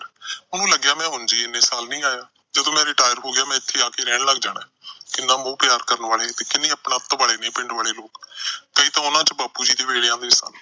ਉਹਨੂੰ ਲੱਗਿਆ ਮੈਂ ਉਂਝ ਹੀ ਨੀ ਇੰਨੇ ਸਾਲ ਇੱਥੇ ਆਇਆ। ਜਦੋਂ ਮੈਂ retire ਹੋ ਗਿਆ, ਮੈਂ ਇੱਥੇ ਆ ਕੇ ਰਹਿਣ ਲੱਗ ਜਾਣਾ। ਕਿੰਨਾ ਮੋਹ-ਪਿਆਰ ਕਰਨ ਵਾਲੇ ਤੇ ਕਿੰਨੇ ਅਪਣਤ ਵਾਲੇ ਨੇ ਪਿੰਡ ਦੇ ਲੋਕ। ਕਈ ਤਾਂ ਉਹਨਾਂ ਚ ਬਾਪੂ ਜੀ ਦੇ ਵੇਲਿਆ ਦੇ ਸਨ।